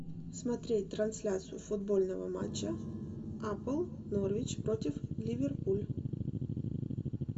смотреть трансляцию футбольного матча апл норвич против ливерпуль